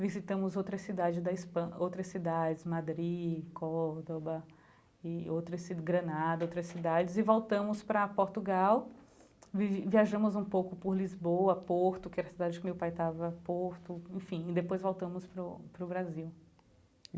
visitamos outra cidade da Espa, outras cidades, Madri, Córdoba, e outras ci Granada, outras cidades e voltamos para Portugal, vi viajamos um pouco por Lisboa, Porto, que era a cidade que meu pai estava Porto, enfim, e depois voltamos para o para o Brasil.